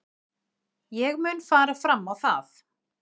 Ég mun fara fram á það.